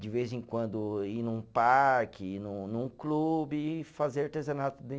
De vez em quando, ir num parque, ir num num clube e fazer artesanato